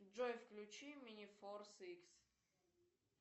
джой включи мини форс икс